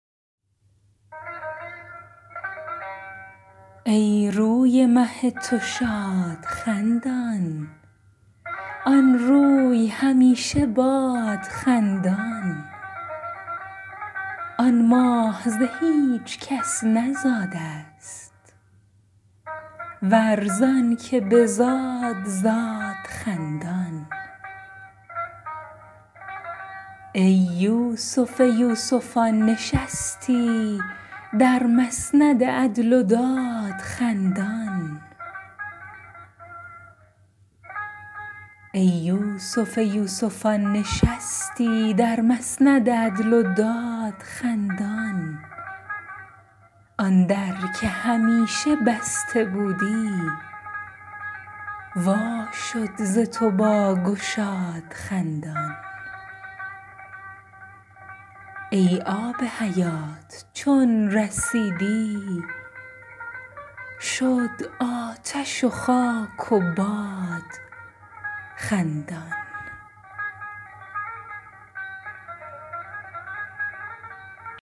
ای روی مه تو شاد خندان آن روی همیشه باد خندان آن ماه ز هیچ کس نزاده ست ور زانک بزاد زاد خندان ای یوسف یوسفان نشستی در مسند عدل و داد خندان آن در که همیشه بسته بودی وا شد ز تو با گشاد خندان ای آب حیات چون رسیدی شد آتش و خاک و باد خندان